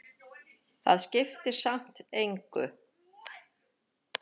Það skiptir samt engu,